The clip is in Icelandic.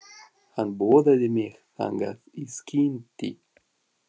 Hann boðaði mig þangað í skyndi.